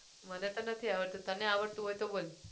મને તો નથી આવડતું તને આવડતું હોય તો બોલ